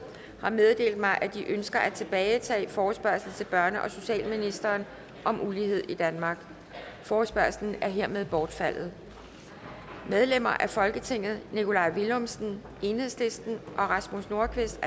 har meddelt mig at de ønsker at tilbagetage forespørgsel til børne og socialministeren om ulighed i danmark forespørgslen er hermed bortfaldet medlemmer af folketinget nikolaj villumsen el og rasmus nordqvist